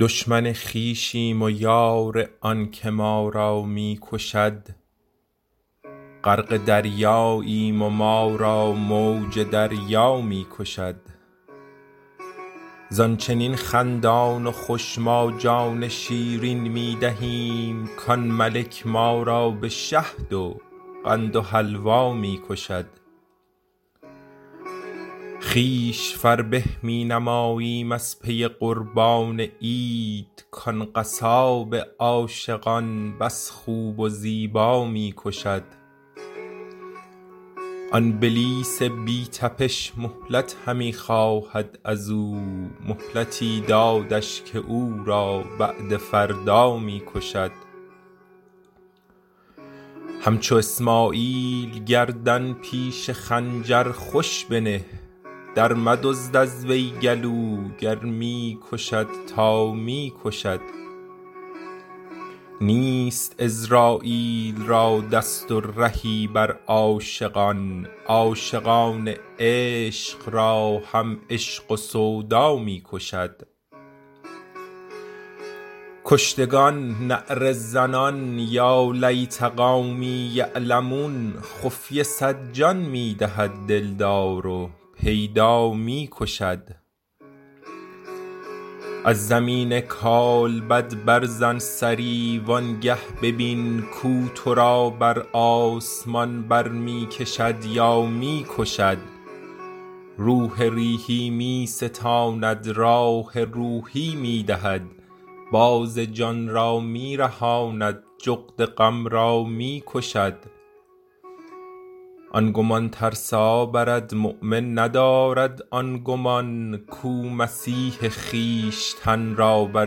دشمن خویشیم و یار آنک ما را می کشد غرق دریاییم و ما را موج دریا می کشد زان چنین خندان و خوش ما جان شیرین می دهیم کان ملک ما را به شهد و قند و حلوا می کشد خویش فربه می نماییم از پی قربان عید کان قصاب عاشقان بس خوب و زیبا می کشد آن بلیس بی تبش مهلت همی خواهد از او مهلتی دادش که او را بعد فردا می کشد همچو اسماعیل گردن پیش خنجر خوش بنه درمدزد از وی گلو گر می کشد تا می کشد نیست عزراییل را دست و رهی بر عاشقان عاشقان عشق را هم عشق و سودا می کشد کشتگان نعره زنان یا لیت قومی یعلمون خفیه صد جان می دهد دلدار و پیدا می کشد از زمین کالبد برزن سری وانگه ببین کو تو را بر آسمان بر می کشد یا می کشد روح ریحی می ستاند راح روحی می دهد باز جان را می رهاند جغد غم را می کشد آن گمان ترسا برد مؤمن ندارد آن گمان کو مسیح خویشتن را بر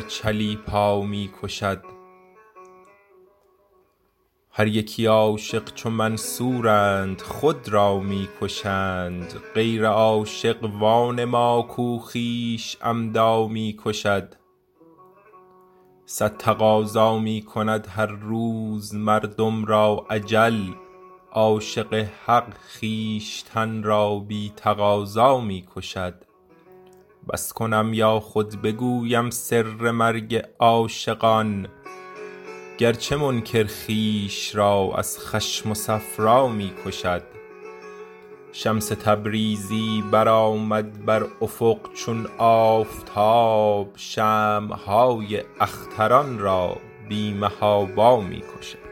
چلیپا می کشد هر یکی عاشق چو منصورند خود را می کشند غیر عاشق وانما که خویش عمدا می کشد صد تقاضا می کند هر روز مردم را اجل عاشق حق خویشتن را بی تقاضا می کشد بس کنم یا خود بگویم سر مرگ عاشقان گرچه منکر خویش را از خشم و صفرا می کشد شمس تبریزی برآمد بر افق چون آفتاب شمع های اختران را بی محابا می کشد